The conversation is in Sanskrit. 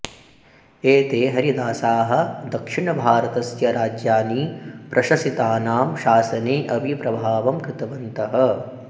एते हरिदासाः दक्षिणभारतस्य राज्यानि प्रशसितानां शसने अपि प्रभावं कृतवन्तः